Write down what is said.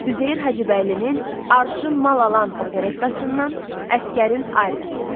Üzeyir Hacıbəylinin Arşın Mal Alan operettasından Əsgərin Aryası.